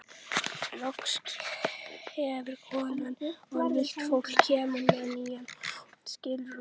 Loks hverfur konan og nýtt fólk kemur með ný skilrúm.